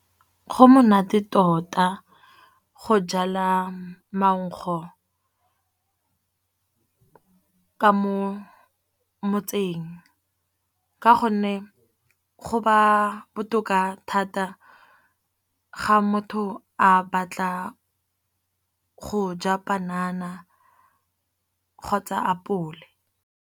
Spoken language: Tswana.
Go monate tota go jala maugo ka mo motseng, ka gonne go ba botoka thata ga motho a batla go ja panana kgotsa apole.